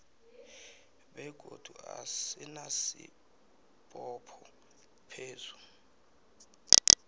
begodu asinasibopho phezu